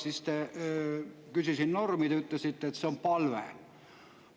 Mina küsisin normi, teie ütlesite, et see oli palve.